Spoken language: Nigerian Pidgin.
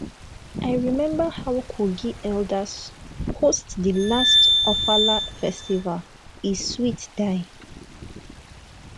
i remember how kogi elders host di last ofala festival e sweat die